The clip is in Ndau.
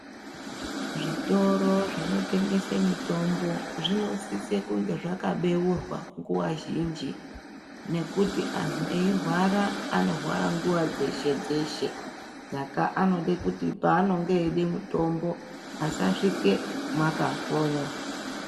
Zvitoro zvinotengesa mitombo zvinosise kunge zvakabeurwa nguwa zhinji ngwkuti antu eirwara anorwara mguwa dzeshe dzeshe saka anode kuti paanode mitombo asasvike makakonywa.